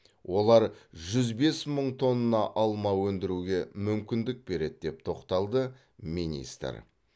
олар жүз бес мың тонна алма өндіруге мүмкіндік береді деп тоқталды министр